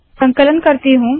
संकलन करती हूँ